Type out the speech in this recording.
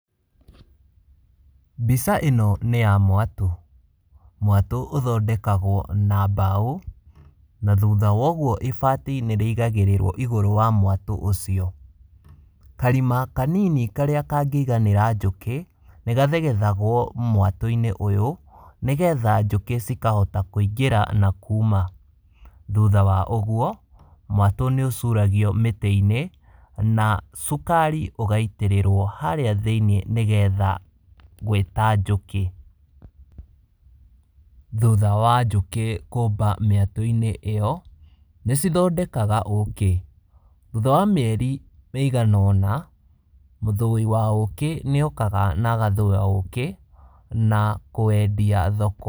Mbica ĩno nĩ ya mwatũ. Mwatũ ũthondekagwo na mbaũ na thutha wa ũguo ibati nĩrĩigagĩrĩrwo igũrũ wa mwatũ ũcio. Karima kanini karĩa kangĩiganĩra njũkĩ, nĩgathegethagwo mwatũ-inĩ ũyũ, nĩgetha njũkĩ cikahota kũingĩra na kuma. Thutha wa ũguo, mwatũ nĩũcuragio mĩtĩ-inĩ na cukari ũgaitĩrĩrwo harĩa thĩiniĩ nĩgetha gwĩta njũkĩ. Thutha wa njũkĩ kũmba mĩatũ-inĩ ĩyo, nĩcithondekaga ũkĩ. Thutha wa mĩeri ĩigana ũna, mũthũi wa ũkĩ nĩokaga na agathũya ũkĩ na kũwendia thoko.